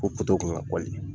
O kun kan ka .